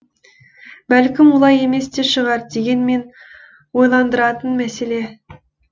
бәлкім олай емес те шығар дегенмен ойландыратын мәселе